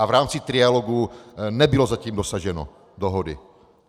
A v rámci trialogu nebylo zatím dosaženo dohody.